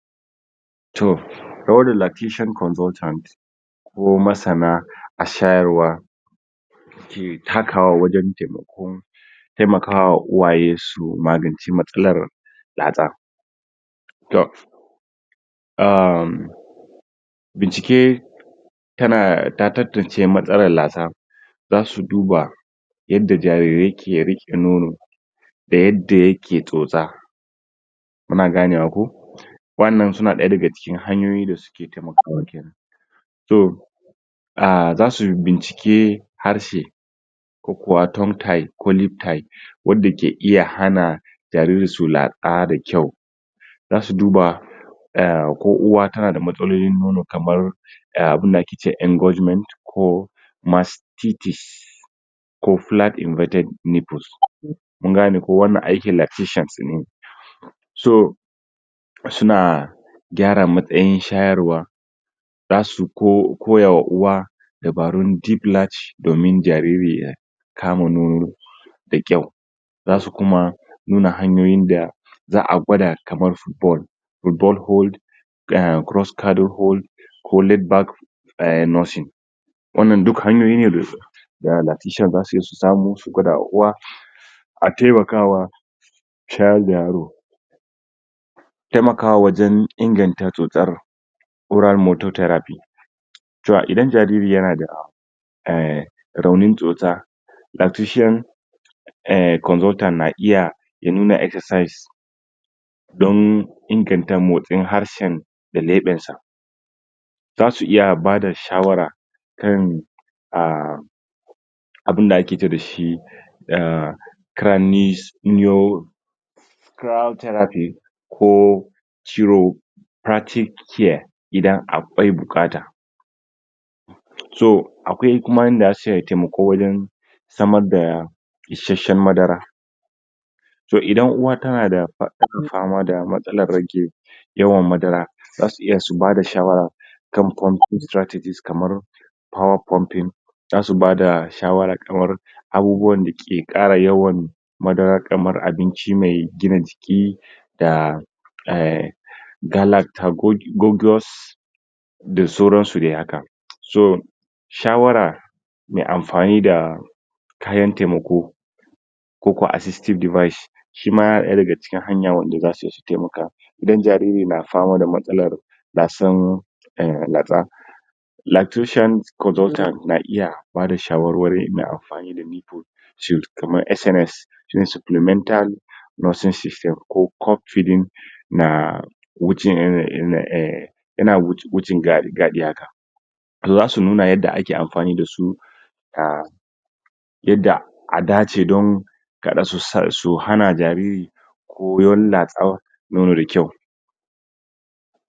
toh kawar da lactation consultant ko masan na a shayarwa ke takawa wajen taimokon taimaka wa uwaye su magance matsalar latsa um bincike ta na tatantanca matsalar latsa da su duba yadda jariri ki ye rike nono da yen da ake tsotsa kuna gane wa ko wana suna daya da ciki haniyoyin da suke taimakowa ki toh ah sasu bincike harshe ko kuma tongue-tie ko lip tie wanda ake iya hana jariri su latsa da kyau da su duba ko uwa ta na da mastalolin nono kamar da abun da ake je engorgement ko masu synthesis ko flat embeded nipple kun gane ko wanda aki lactations ne so suna gara matsayin shayarwa da su ko koyar ma uwa dabaru thick latch domin jariri ye kama da nono da kyau dasu kuma nuna hanyoyin da za'a gwada kamar um hold a cross cardo hold ko laid back a nursing wannan duk hanyoyin da da lactation za zu iya samu su gwada ma uwa a taimaka wa shayar da yaro taimaka wajen inkanta tsotsa kura moto therapist toh inda jarir yana da um rawani tsotsa lactation um consultant na iya ya nuna excercise domin ingata motsi harshe da ladan sa za su iya bada shawara kan um abinda ake je dashi dah crynis cry thrapist ko ciwo septic care inda akwai bukata rigo akwai kuma inda aka cewa taimako wajen sama daya isasshen madara toh inda uwa tanada fama da matsalan rage madara za su i ya su bada shawara kam pumping strategies kama power puming za su bada shawara akan kara yawan madara kamar abinchi mai gina jiki da yah galactacodious da saurasu de aka so shawara mai anfani da kayan taimako ko ka assitive device shi ma yana da ga hanyan wanda da saku taiaka inda jariri na fama da matsalan latsan um latsa lactation consultant na' iya bada shawara masu amfani mai iko should kama sms shine supplemental nursing system ko cup feeding na nawuce irin gadi um yana garrri garri haka za su nuna inda aki amfani da su um yaɗɗa a dace don gara su su hana jarir ko wani latsa nono da kyau